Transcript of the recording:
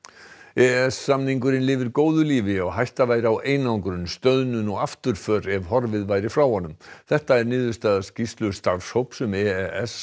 e s samningurinn lifir góðu lífi og hætta væri á einangrun stöðnun og afturför ef horfið væri frá honum þetta er niðurstaða skýrslu starfshóps um e e s